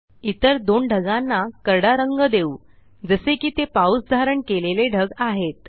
इतर दोन ढगांना करडा रंग देऊ जसे कि ते पाऊस धारण कलेले ढग आहेत